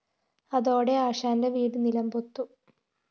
അതോടെ ആശാന്റെ വീട് നിലം പൊത്തും